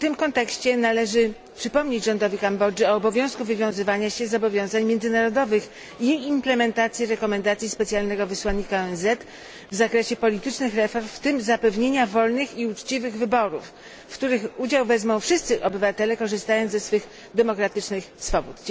W tym kontekście należy przypomnieć rządowi Kambodży o obowiązku wywiązywania się z zobowiązań międzynarodowych i implementacji rekomendacji specjalnego wysłannika ONZ w zakresie politycznych reform, w tym zapewnienia wolnych i uczciwych wyborów, w których udział wezmą wszyscy obywatele, korzystając ze swych demokratycznych swobód.